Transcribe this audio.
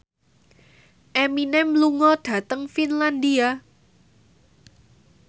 Eminem lunga dhateng Finlandia